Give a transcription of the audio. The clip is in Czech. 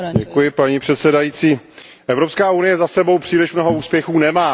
Paní předsedající, Evropská unie za sebou příliš mnoho úspěchů nemá.